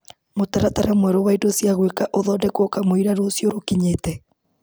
Mũtaratara mwerũ wa indo cia gwĩka ũthondekwo kamũira rũciũ rũkinyĩte.